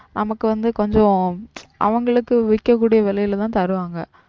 நமக்கு வந்து கொஞ்சம் அவங்களுக்கு விக்கக்கூடிய விலையிலதான் தருவாங்க.